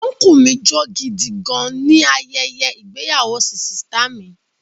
Ọnkúu mi jó gidi gan-an ni ayẹyẹ ìgbéyàwó sìsìtá mi